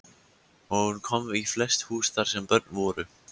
Hún kom í flest hús þar sem börn voru.